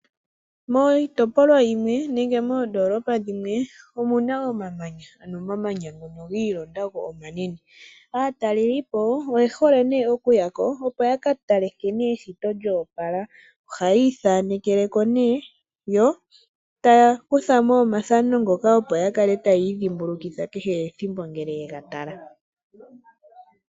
Miitopolwa yimwe nenge moondolopa dhimwe omuna omamanya aano omamanya ngono giilonda go omanene. Aatalelipo oye hole ne okuyako ko yakatale nkene eshito lyopala ohayithanekeleko ne yo tayakuthamo omathano ngoka opo yakale tayi dhimbulukitha kehe ethimbo ngele ye gatala.